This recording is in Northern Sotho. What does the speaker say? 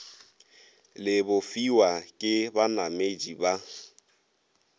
le bofiwa ke banamedi ba